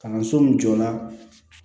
Kalanso min jɔ la